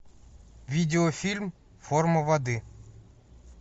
видеофильм форма воды